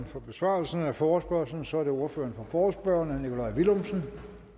for besvarelsen af forespørgslen så er det ordføreren for forespørgerne herre nikolaj villumsen